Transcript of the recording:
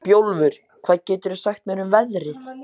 Bjólfur, hvað geturðu sagt mér um veðrið?